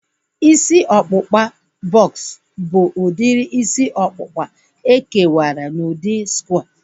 Isi ọkpụkpa bọks bụ udiri isi ọkpụkpa e kewara n'udi skware